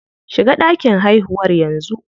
Shiga ɗakin haihuwar yanzu.